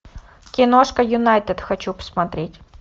киношка юнайтед хочу посмотреть